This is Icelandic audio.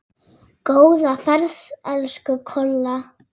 Góða ferð, elsku Kolla.